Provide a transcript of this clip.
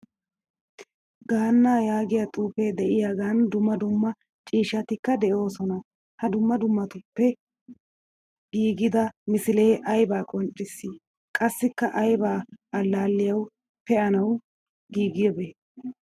Gaanna yaagiyaa xuufe deiyogenne dumma dumma ciishshatikka deosona. Ha dumma dummabatuppe giigida misile ayba qonccisi? Qassikka ayba allaliyawu peanawu giigidabe?